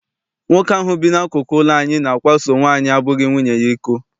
Nwoke ahụ bi n'akụkụ ụlọ anyị na-akwaso nwaanyị abụghị nwunye ya iko.